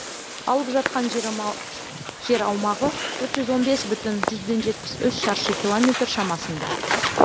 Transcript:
алып жатқан жер аумағы төрт жүз он бес бүтін жүзден жетпсі үш шаршы километр шамасында